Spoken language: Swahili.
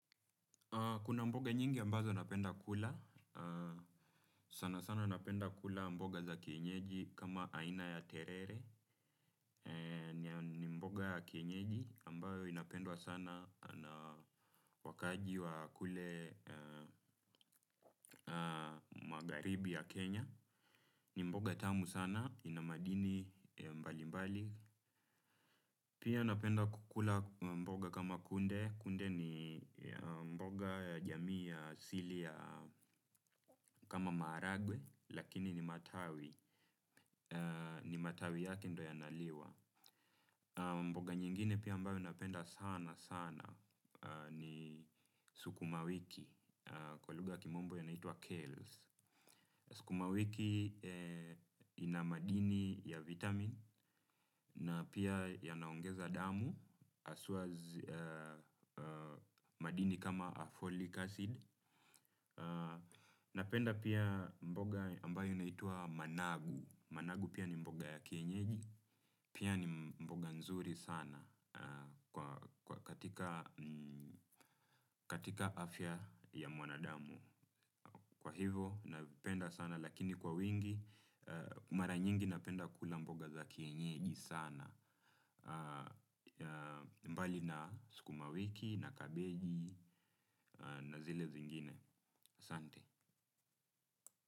Kuna mboga nyingi ambazo napenda kula, sana sana napenda kula mboga za kienyeji kama aina ya terere, ni mboga ya kienyeji ambayo inapendwa sana na wakaaji wa kule magharibi ya Kenya, ni mboga tamu sana ina madini mbali mbali. Pia napenda kukula mboga kama kunde, kunde ni mboga ya jamii ya asili ya kama maharagwe, lakini ni matawi, ni matawi yake ndio yanaliwa. Mboga nyingine pia ambayo napenda sana sana ni sukuma wiki, kwa lugha ya kimombo yanaitwa Kales. Sukuma wiki ina madini ya vitamini na pia yanaongeza damu haswa madini kama folic acid. Napenda pia mboga ambayo unaitwa managu. Managu pia ni mboga ya kienyeji, pia ni mboga nzuri sana katika afya ya mwanadamu. Kwa hivo navipenda sana lakini kwa wingi, mara nyingi napenda kula mboga za kienyeji sana. Mbali na sukuma wiki na kabeji na zile zingine, asante.